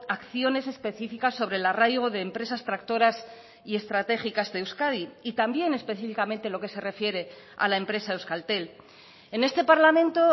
acciones específicas sobre el arraigo de empresas tractoras y estratégicas de euskadi y también específicamente lo que se refiere a la empresa euskaltel en este parlamento